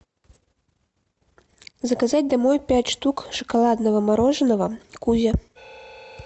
заказать домой пять штук шоколадного мороженого кузя